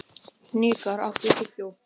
Hnikar, áttu tyggjó?